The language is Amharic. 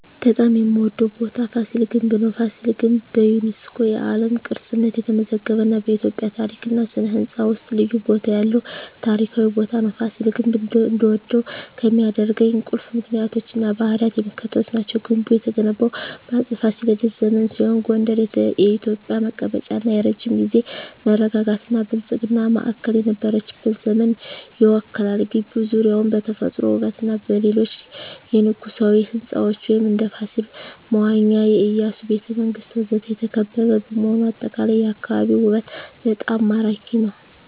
በጣም የምዎደው ቦታ ፋሲል ግንብ ነው። ፋሲል ግንብ በዩኔስኮ የዓለም ቅርስነት የተመዘገበ እና በኢትዮጵያ ታሪክ እና ሥነ ሕንፃ ውስጥ ልዩ ቦታ ያለው ታሪካዊ ቦታ ነው። ፋሲል ግንብ እንድወደው ከሚያደርኝ ቁልፍ ምክንያቶች እና ባህሪያት የሚከተሉት ናቸው። ግንቡ የተገነባው በአፄ ፋሲለደስ ዘመን ሲሆን ጎንደር የኢትዮጵያ መቀመጫ እና የረጅም ጊዜ መረጋጋትና ብልጽግና ማዕከል የነበረችበትን ዘመን ይወክላል። ግቢው ዙሪያውን በተፈጥሮ ውበትና በሌሎች የንጉሣዊ ሕንፃዎች (እንደ ፋሲል መዋኛ፣ የኢያሱ ቤተ መንግስት ወዘተ) የተከበበ በመሆኑ አጠቃላይ የአካባቢው ውበት በጣም ማራኪ ነው። …